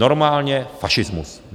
Normálně fašismus!